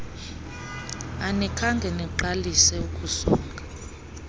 anikhange niqalise ukusonga